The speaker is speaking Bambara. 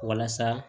Walasa